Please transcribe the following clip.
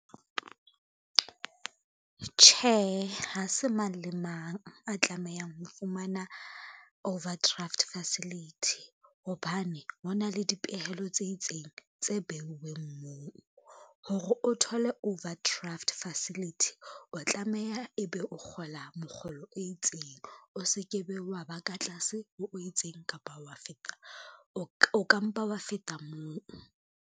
Tjhe, ha se mang le mang a tlamehang ho fumana overdraft facility, hobane ho na le dipehelo tse itseng tse beuweng moo. Hore o thole overdraft facility, o tlameha ebe o kgola mokgolo o itseng, o se ke be wa ba ka tlase ho itseng kapa wa feta, o ka mpa wa feta moo.